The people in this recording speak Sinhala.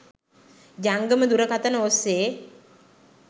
ජංගම දුරකථන ඔස්සේ